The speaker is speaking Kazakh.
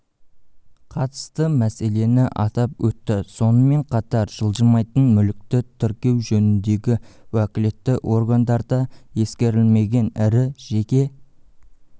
қатысты мәселені атап өтті сонымен қатар жылжымайтын мүлікті тіркеу жөніндегі уәкілетті органдарда ескерілмеген ірі жеке